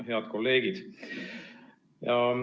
Head kolleegid!